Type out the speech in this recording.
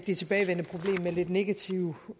det tilbagevendende problem med lidt negative